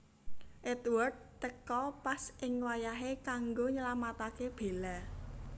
Edward teka pas ing wayahé kanggo nylamataké Bella